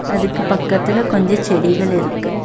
அதுக்கு பக்கத்தில கொஞ்ச செடிகள் இருக்கு.